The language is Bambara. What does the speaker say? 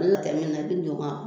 O la tali in na i bi don n kan